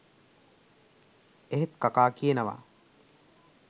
එහෙත් කකා කියනවා